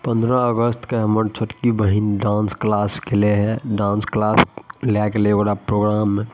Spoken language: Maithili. पंद्रह अगस्त के हमर छोटकी बहिन डांस क्लास गेले है डांस क्लास ले गेलै ओकरा प्रोग्राम में --